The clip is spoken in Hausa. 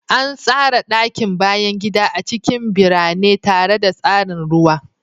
An tsara ɗakin bayan gida a cikin birane tare da tsarin ruwa.